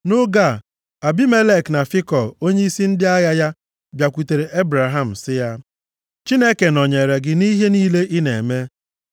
Nʼoge a, Abimelek na Fikọl onyeisi ndị agha ya, bịakwutere Ebraham sị ya, “Chineke nọnyeere gị nʼihe niile ị na-eme.